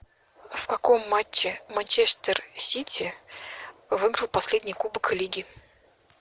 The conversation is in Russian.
в каком матче манчестер сити выиграл последний кубок лиги